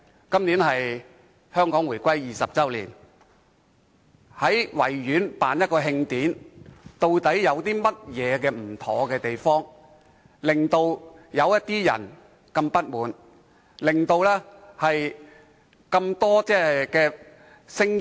今年是香港回歸20周年，慶委會在維園舉辦一場慶典，究竟有何不妥之處，令某些人如此不滿，引起眾多指責的聲音？